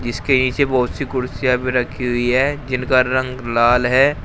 जिसके नीचे बहोत सी कुर्सियां भी रखी हुई है जिनका रंग लाल है।